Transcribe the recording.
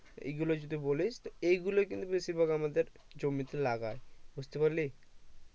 এগুলো যদি বলিস এইগুলোই কিন্তু বেশিরভাগ আমাদের জমিতে লাগাই বুঝতে পারলি